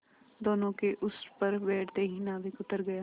दोेनों के उस पर बैठते ही नाविक उतर गया